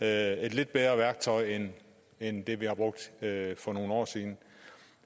er et lidt bedre værktøj end end det vi har brugt for nogle år siden